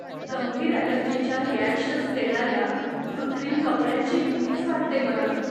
गंभीर एलर्जीच्या रिॲकशन्स देणाऱ्या कृत्रिम कपड्यांची भीतीच वाटते मला.